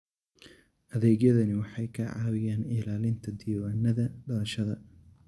Adeegyadani waxay ka caawiyaan ilaalinta diiwaannada dhalashada.